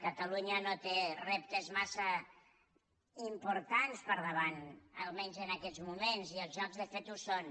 catalunya no té reptes massa importants per davant almenys en aquests moments i els jocs de fet ho són